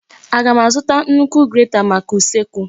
Aga m azụta nnukwu grata maka usekwu?